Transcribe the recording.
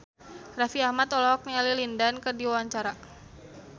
Raffi Ahmad olohok ningali Lin Dan keur diwawancara